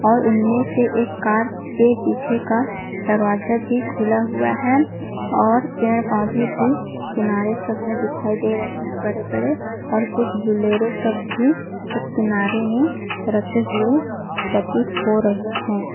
और उनमें से एक कार के पीछे का दरवाजा भी खुला हुआ है और पेड़-पौधे भी किनारे सब में दिखाई दे रहे है बड़े-बड़े और कुछ बोलोरो सब भी एक किनारे रखे हुए प्रतीत हो रहे है।